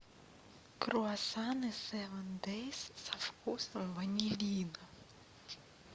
круассаны севен дейс со вкусом ванилина